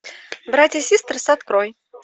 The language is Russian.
братья систерс открой